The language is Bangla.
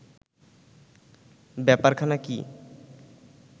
ব্যাপারখানা কি